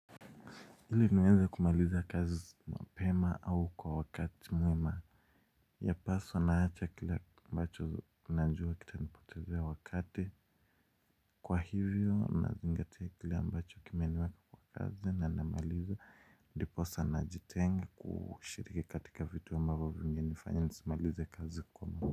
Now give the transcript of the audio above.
Ili niweze kumaliza kazi mapema au kwa wakati mwema. Yapaswa naacha kila ambacho najua kitanipotezea wakati kwa hivyo nazingatia kile ambacho kimeniweka kwa kazi na namaliza ndiposa najitengi kushiriki katika vitu amabavo vingenifanya nisimalize kazi kwa muda.